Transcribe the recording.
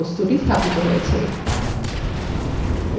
দেখুন কোথায় প্রতিলিপি করা বস্তুটি স্থাপিত হয়েছে